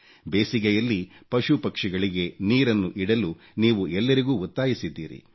ಬೇಸಿಗೆಯಲ್ಲಿ ಪಶು ಪಕ್ಷಿಗಳಿಗೆ ನೀರನ್ನು ಇಡಲು ನೀವು ಎಲ್ಲರಿಗೂ ಒತ್ತಾಯಿಸಿದ್ದೀರಿ